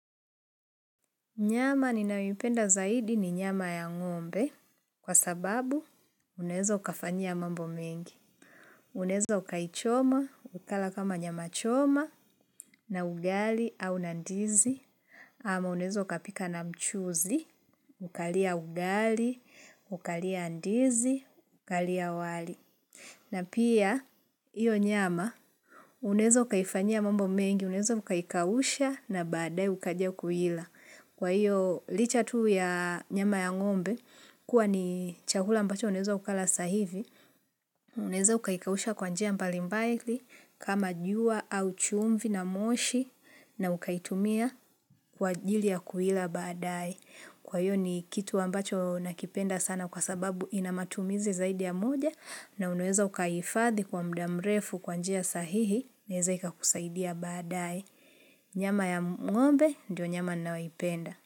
Nyama ninayoipenda zaidi ni nyama ya ngombe, kwa sababu unaweza ukafanyia mambo mengi. Unaeza ukaichoma, ukala kama nyama choma, na ugali au na ndizi, ama unaeza ukapika na mchuzi, ukalia ugali, ukalia ndizi, ukalia wali. Na pia, iyo nyama, unaeza ukaifanyia mambo mengi, unaeza ukaikausha na baadaye ukaja kuila. Kwa hiyo, licha tu ya nyama ya ng'ombe, kuwa ni chakula ambacho unaeza ukala sasa hivi, unaeza ukaikausha kwa njia mbalimbali kama jua au chumvi na moshi, na ukaitumia kwa ajili ya kuila baadaye. Kwa hiyo ni kitu ambacho nakipenda sana kwa sababu ina matumizi zaidi ya moja na unaweza ukaihifadhi kwa muda mrefu kwa njia sahihi inaeza ikakusaidia baadaye. Nyama ya ng'ombe ndio nyama nanayoipenda.